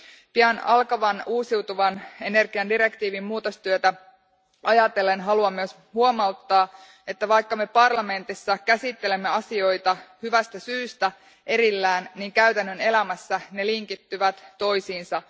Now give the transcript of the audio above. Pian alkavaa uusiutuvan energian direktiivin muutostyötä ajatellen haluan myös huomauttaa, että vaikka me parlamentissa käsittelemme asioita hyvästä syystä erillään, käytännön elämässä ne linkittyvät toisiinsa.